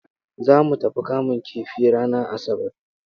Za mu tafi kamun kifi ranar Asabar.